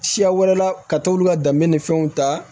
Siya wɛrɛ la ka t'olu ka danbe ni fɛnw ta